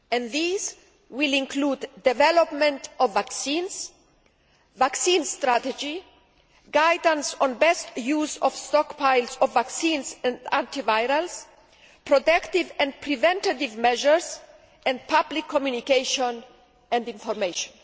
These will include development of vaccines, vaccine strategy, guidance on best use of stockpiles of vaccines and antivirals, protective and preventative measures and public communication and information.